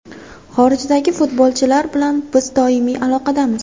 Xorijdagi futbolchilar bilan biz doimiy aloqadamiz.